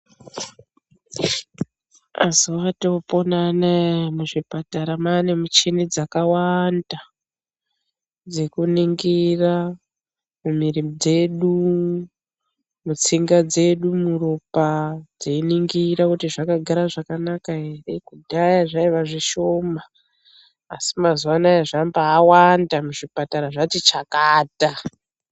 Mazuwa atoopona anaya muzvipatara mane michini dzakawanda dzekuningira mumiri dzedu, mutsinga dzedu, muropa teiningira kuti zvakagara zvakanaka ere. Kudhaya zvaiva zvishoma asi mazuwa anaya zvambawanda muzvipatara zvati chakata.